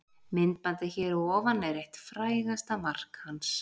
Myndbandið hér að ofan er eitt frægasta mark hans.